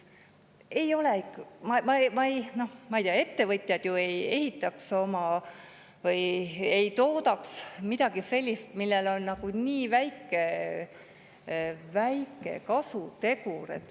Ma ei tea, ettevõtjad ju ei ehitaks või ei toodaks midagi sellist, millel on nii väike kasutegur.